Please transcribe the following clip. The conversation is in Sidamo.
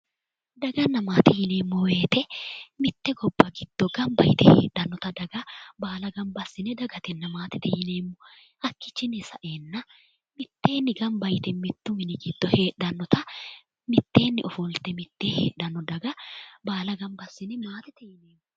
Daganna maate yineemmo woyite mitte gobba giddo gamba yite heedhannota daga baala gamba assine dagatenna maatete yineemmo hakkiichinni sa'eenna mitteenni gamba yite mittu mini giddo heedhannota mitteenni ofolte Mittee heedhanno daga baala gamba assine maatete yineemmo